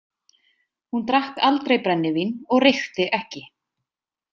Hún drakk aldrei brennivín og reykti ekki.